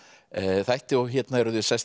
þætti hérna eru þau sest